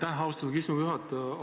Aitäh, austatud istungi juhataja!